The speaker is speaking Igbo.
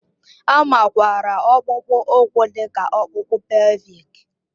A makwaara ọkpụkpụ úkwù dị ka ọkpụkpụ pèlvịk